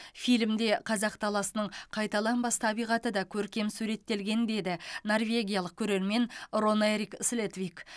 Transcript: фильмде қазақ даласының қайталанбас табиғаты да көркем суреттелген деді норвегиялық көрермен рон эрик слетвик